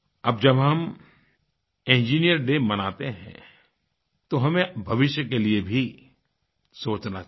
अब जब हम इंजिनियर्स डे मनाते हैं तो हमें भविष्य के लिए भी सोचना चाहिए